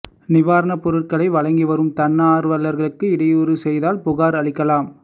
நிவாரணப் பொருட்களை வழங்கி வரும் தன்னார்வலர்களுக்கு இடையூறு செய்தால் புகார் அளிக்கலாம்